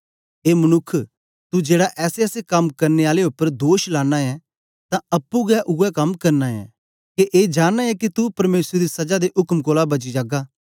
ए मनुक्ख तू जेड़ा ऐसेऐसे कम करने आले उपर दोष लाना ऐं ते अप्पुं गै उवै कम करना ऐं के ए जानना ऐ के तू परमेसर दी सजा दे उक्म कोलां बची जागा